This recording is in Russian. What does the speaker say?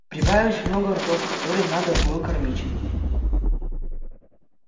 прибавилось много ртов которые надо было кормить